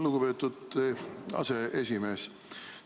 Lugupeetud aseesimees!